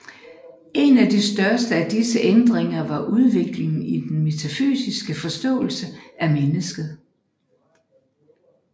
En af de største af disse ændringer var udviklingen i den metafysiske forståelse af mennesket